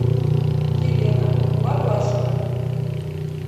елена варлашина